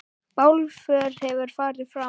Bálför hefur farið fram.